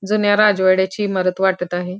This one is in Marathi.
जुन्या राजवाड्याची इमारत वाटत आहे.